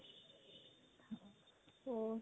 ਹੋਰ